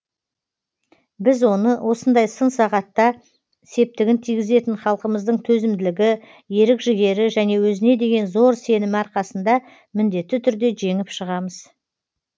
біз оны осындай сын сағатта септігін тигізетін халқымыздың төзімділігі ерік жігері және өзіне деген зор сенімі арқасында міндетті түрде жеңіп шығамыз